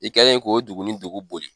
I kɛlen k'o dugu ni dugu boli.